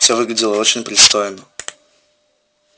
всё выглядело очень пристойно